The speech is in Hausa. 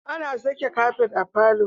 Ana saka kafet a falo